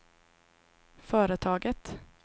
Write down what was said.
företaget